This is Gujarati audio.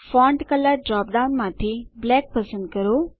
ફોન્ટ કલર ડ્રોપ ડાઉનમાંથી બ્લેક પસંદ કરો